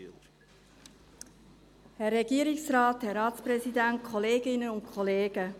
Ich gebe das Wort der Motionärin, Grossrätin Geissbühler.